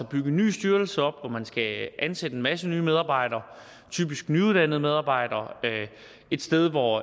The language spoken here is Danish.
bygger en ny styrelse op hvor man skal ansætte en masse nye medabejdere typisk nyuddannede medarbejdere et sted hvor